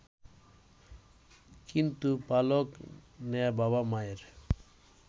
কিন্তু পালক নেয়া বাবা-মায়ের